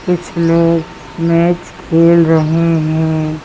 कुछ लोग मैच खेल रहे हैं।